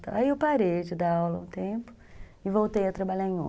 Aí eu parei de dar aula um tempo e voltei a trabalhar em